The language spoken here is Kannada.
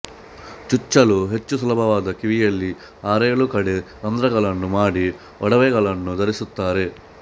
ಚುಚ್ಚಲು ಹೆಚ್ಚು ಸುಲಭವಾದ ಕಿವಿಯಲ್ಲಿ ಆರೇಳು ಕಡೆ ರಂಧ್ರಗಳನ್ನು ಮಾಡಿ ಒಡವೆಗಳನ್ನು ಧರಿಸುತ್ತಾರೆ